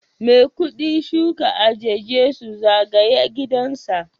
Maikudi shuka eje Jesu zagaye gidansa